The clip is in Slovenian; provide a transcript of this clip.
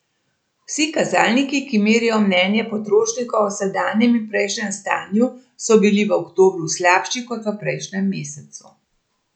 Vsi kazalniki, ki merijo mnenje potrošnikov o sedanjem in prejšnjem stanju, so bili v oktobru slabši kot v prejšnjem mesecu.